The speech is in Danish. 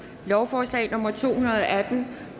lovforslag nummer l to hundrede og atten